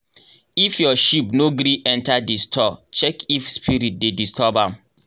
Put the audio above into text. if your sheep no gree enter the store check if spirit dey disturb am.